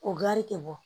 O gari tɛ bɔ